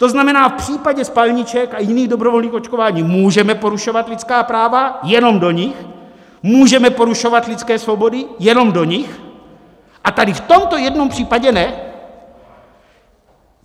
To znamená, v případě spalniček a jiných dobrovolných očkování můžeme porušovat lidská práva - jenom do nich!, můžeme porušovat lidské svobody - jenom do nich!, a tady v tomto jednom případě ne?